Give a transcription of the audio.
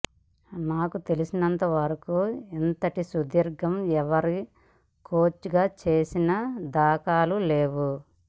నాకు తెలిసినంత వరకూ ఇంతటి సుదీర్ఘంగా ఎవరూ కోచ్గా చేసిన దాఖలాలు లేవు